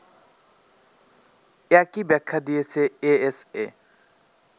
একই ব্যাখ্যা দিয়েছে এএসএ